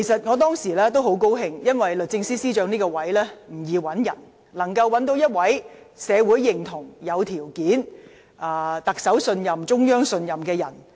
我當時很高興，因為合適的司長人選，必須備受社會認同、有條件，以及得到特首及中央信任。